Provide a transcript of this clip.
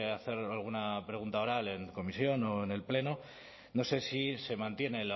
hacer alguna pregunta oral en comisión o en el pleno no sé si se mantiene